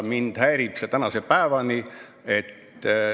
Mind häirib see tänase päevani.